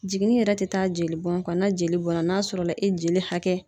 Jiginni yɛrɛ tɛ taa jeli bɔn kɔ na jeli bɔnna n'a sɔrɔla e jeli hakɛ